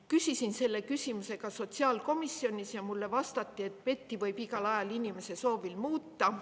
Küsisin selle küsimuse ka sotsiaalkomisjonis ja mulle vastati, et PET-i võib igal ajal inimese soovil muuta.